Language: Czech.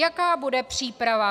Jaká bude příprava?